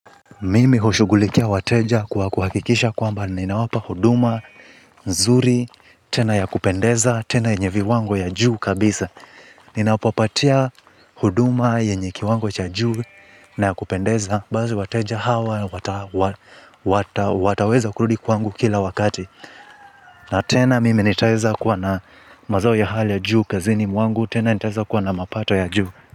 Mimi hushughulikia wateja kwa kuhakikisha kwamba ninawapa huduma, nzuri, tena ya kupendeza, tena yenye viwango ya juu kabisa. Ninawapopatia huduma yenye kiwango cha juu na ya kupendeza, basi wateja hawa, wataweza kurudi kwangu kila wakati. Na tena mimi nitaeza kuwa na mazao ya hali ya juu kazini mwangu, tena nitaeza kuwa na mapato ya juu.